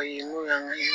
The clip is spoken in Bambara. Ayi n'o y'an ka